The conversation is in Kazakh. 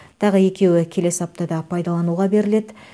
тағы екеуі келесі аптада пайдалануға беріледі